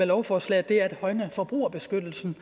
lovforslaget er at højne forbrugerbeskyttelsen